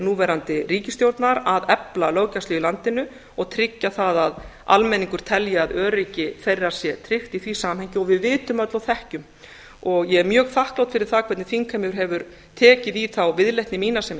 núverandi ríkisstjórnar að efla löggæslu í landinu og tryggja það að almenningur telji að öryggi þeirra sé tryggt í því samhengi og við vitum öll og þekkjum og ég er mjög þakklát fyrir það hvernig þingheimur hefur tekið í þá viðleitni mína sem